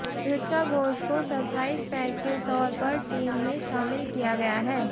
ऋचा घोष को surprise pack के तौर पर टीम में शामिल किया गया है